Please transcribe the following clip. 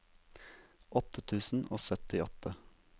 åtte tusen og syttiåtte